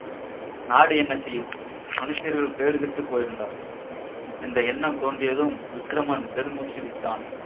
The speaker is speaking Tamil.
நாடு என்ன செய்யும் மனுஷ்யர்கள் கேடுகெட்டுப் போயிருந்தால் என்ற எண்ணம் தோன்றியதும் விக்கிரமன் பெருமூச்சு விட்டான்